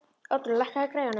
Oddrún, lækkaðu í græjunum.